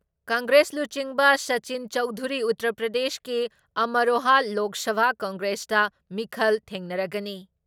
ꯀꯪꯒ꯭ꯔꯦꯁ ꯂꯨꯆꯤꯡꯕ ꯁꯥꯆꯤꯟ ꯆꯧꯙꯨꯔꯤ ꯎꯇꯔ ꯄ꯭ꯔꯗꯦꯁꯀꯤ ꯑꯃꯔꯣꯍꯥ ꯂꯣꯛ ꯁꯚꯥ ꯀꯦꯟꯗ꯭ꯔꯗ ꯃꯤꯈꯜ ꯊꯦꯡꯅꯔꯒꯅꯤ ꯫